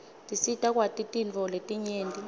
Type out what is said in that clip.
tisita kwati tintfo letinyenti